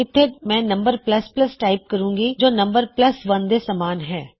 ਇਥੇ ਮੈਂ num type ਕਰੂੰਗੀੰ ਜੋ num1 ਦੇ ਸਮਾਨ ਹੈ